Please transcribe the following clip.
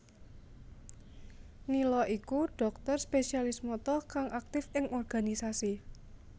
Nila iku dhokter Spesialis Mata kang aktif ing organisasi